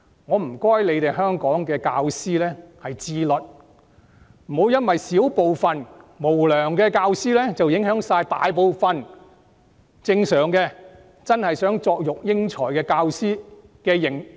我請香港的教師自律，不要因為小部分無良教師而影響大部分真的希望作育英才的教師的聲譽。